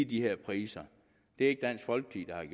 de her priser det er ikke dansk folkeparti